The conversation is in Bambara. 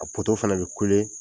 A poto fana bɛ kule